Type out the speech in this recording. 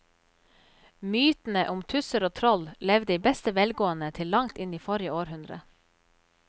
Mytene om tusser og troll levde i beste velgående til langt inn i forrige århundre.